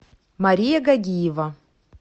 мария гагиева